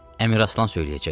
Əmiraslan söyləyəcəkdi.